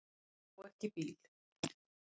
Á ekki bíl.